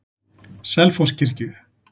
Selfosskirkju